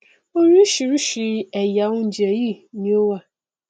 orísìírísìí ẹyà oúnjẹ yìí ni ó wà